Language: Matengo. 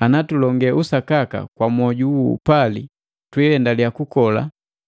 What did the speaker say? Ana tulonge usakaka kwa mwoju wo upali twiendaliya kukola